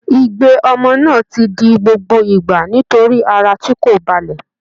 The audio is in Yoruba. Igbe ọmọ náà ti di gbogbo ìgbà nítorí ara tí kò balẹ̀